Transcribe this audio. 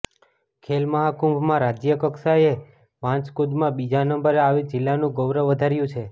ખેલમહાકુંભમાં રાજય કક્ષાએ વાંસકૂદમાં બીજા નંબરે આવી જિલ્લાનું ગૌરવ વધાર્યું છે